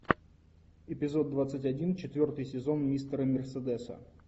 эпизод двадцать один четвертый сезон мистера мерседеса